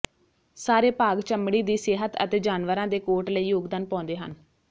ਸਾਰੇ ਭਾਗ ਚਮੜੀ ਦੀ ਸਿਹਤ ਅਤੇ ਜਾਨਵਰਾਂ ਦੇ ਕੋਟ ਲਈ ਯੋਗਦਾਨ ਪਾਉਂਦੇ ਹਨ